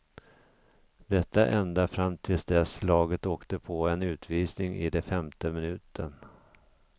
Detta ända fram tills dess laget åkte på en utvisning i den femte minuten.